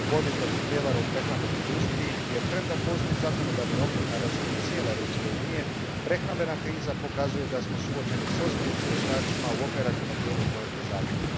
u borbi protiv prijevara u prehrambenoj industriji jer premda postoji zakonodavni okvir na razini cijele Europske unije, prehrambena kriza pokazuje da smo suočeni s ozbiljnim nedostacima u operativnom dijelu provedbe zakona.